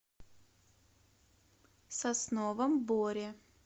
сосновом боре